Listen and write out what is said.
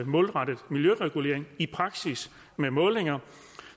målrettet miljøregulering i praksis med målinger